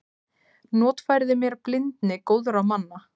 Notfærði mér blindni góðra manna.